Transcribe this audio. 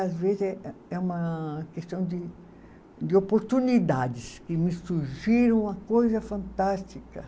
Às vezes é é uma questão de de oportunidades que me surgiram uma coisa fantástica.